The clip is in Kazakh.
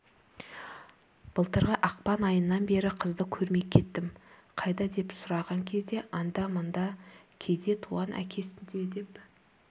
былтырғы ақпан айынан бері қызды көрмей кеттім қайда деп сұраған кезде анда-мында кейде туған әкесінде деп